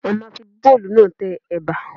A ma fi bóòlù náà tẹ Ẹ̀bà.